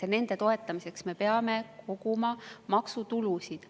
Ja nende toetamiseks me peame koguma maksutulusid.